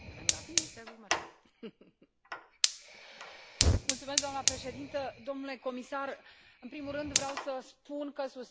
Doamnă președintă, domnule comisar, în primul rând vreau să vă spun că susțin raportul și o felicit pe raportoare și pe toți cei care au contribuit.